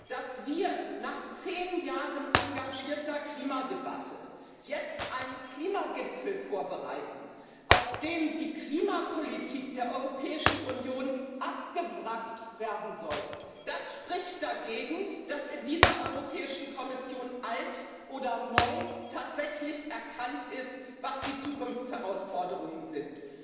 Dass wir nach zehn Jahren engagierter Klimadebatte jetzt einen Klimagipfel vorbereiten, auf dem die Klimapolitik der Europäischen Union abgewrackt werden soll, das spricht dagegen, dass in dieser Europäischen Kommission, alt oder neu, tatsächlich erkannt worden ist, was die Zukunftsherausforderungen sind.